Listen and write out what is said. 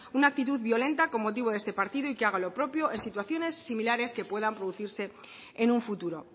una actitud violenta con motivo de este partido y que hagan lo propio en situaciones simulares que puedan producirse en un futuro